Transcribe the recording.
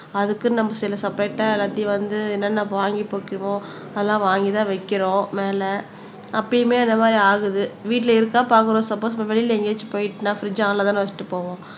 அதுக்குன்னு நம்ம சில செப்பரேட்ட எல்லாத்தையும் வந்து என்னென்ன வாங்கி அதெல்லாம் வாங்கிதான் வைக்கிறோம் மேல அப்பயுமே இந்த மாறி ஆகுது வீட்டுல இருந்தா பாக்குறோம் சப்போஸ் நம்ம வெளியில எங்கேயாச்சும் போயிட்டுன்னா பிரிட்ஜ் ஒனலதான வச்சுட்டு போவோம்